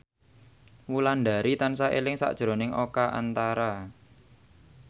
Wulandari tansah eling sakjroning Oka Antara